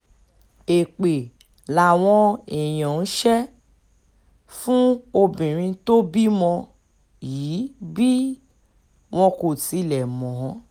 èpè làwọn èèyàn ń ṣe um fún obìnrin tó bímọ yìí bí um wọn kò tilẹ̀ mọ̀ ọ́n